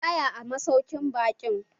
Mu tsaya a masaukin baƙin